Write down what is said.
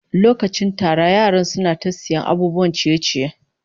Lokacin tara yaran suna ta sayan abubuwan ciye-ciye